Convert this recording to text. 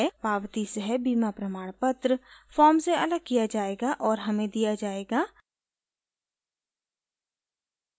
पावती सह बीमा प्रमाणपत्र फॉर्म से अलग किया जायेगा और हमें दिया जायेगा